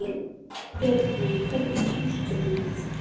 Bjarney, hvernig kemst ég þangað?